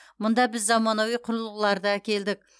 мұнда біз заманауи құрылғыларды әкелдік